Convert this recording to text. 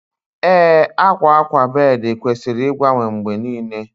Ee, akwa akwa bed kwesịrị ịgbanwe mgbe niile